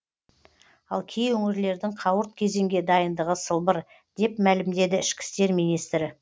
ал кей өңірлердің қауырт кезеңге дайындығы сылбыр деп мәлімдеді ішкі істер министрі